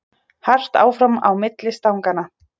Hart áfram á milli stanganna